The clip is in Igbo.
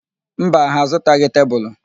Mba, ha azụtaghị tebulu.